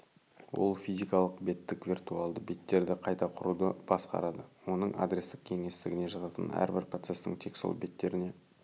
ол физикалық беттік виртуалды беттерді қайта құруды басқарады оның адрестік кеңістігіне жататын әрбір процестің тек сол беттеріне